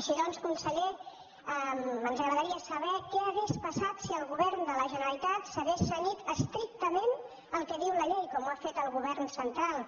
així doncs conseller ens agradaria saber què hauria passat si el govern de la generalitat s’hagués cenyit estrictament al que diu la llei com ha fet el govern central